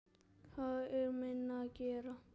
Það er minna að gera.